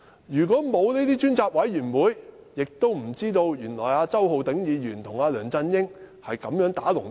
如果沒有這類專責委員會，我們怎會知道周浩鼎議員原來與梁振英"打龍通"。